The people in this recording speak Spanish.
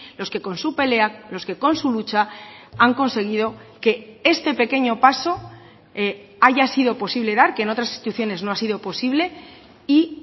los que con su pelea los que con su lucha han conseguido que este pequeño paso haya sido posible dar que en otras instituciones no ha sido posible y